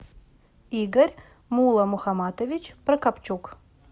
игорь мулламухаматович прокопчук